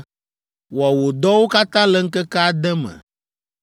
Wɔ wò dɔwo katã le ŋkeke ade me,